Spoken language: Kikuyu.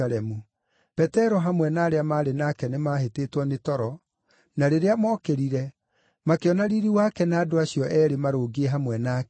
Petero hamwe na arĩa maarĩ nake nĩmahĩtĩtwo nĩ toro, na rĩrĩa mookĩrire, makĩona riiri wake na andũ acio eerĩ maarũngiĩ hamwe nake.